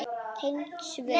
Tengd svör